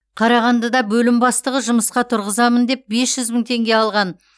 қарағандыда бөлім бастығы жұмысқа тұрғызамын деп бес жүз мың теңге алған